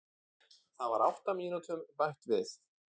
Það var átta mínútum bætt við